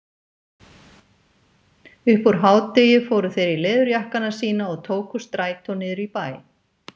Upp úr hádegi fóru þeir í leðurjakkana sína og tóku strætó niður í bæ.